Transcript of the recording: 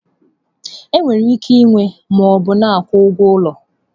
Enwere ike ịnwe ma ọ bụ na akwụ ụgwọ ụlọ.